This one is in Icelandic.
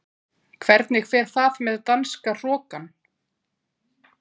Hvernig fer það með danska hrokann?